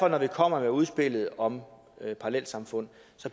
at når vi kommer med udspillet om parallelsamfund